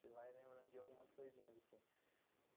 Você vai lembrando de algumas coisinhas assim.